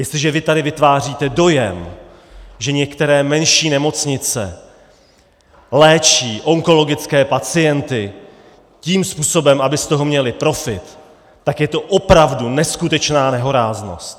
Jestliže vy tady vytváříte dojem, že některé menší nemocnice léčí onkologické pacienty tím způsobem, aby z toho měly profit, tak je to opravdu neskutečná nehoráznost.